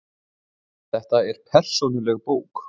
Þetta er persónuleg bók.